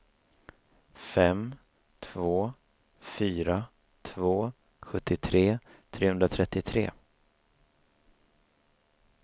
fem två fyra två sjuttiotre trehundratrettiotre